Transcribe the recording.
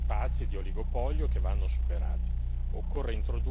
Ci sono luoghi, spazi di oligopolio che vanno superati.